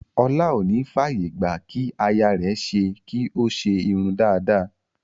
Ọlá ò ní f'àyè gbà kí aya rẹ̀ ṣe kí ó ṣe irun dada.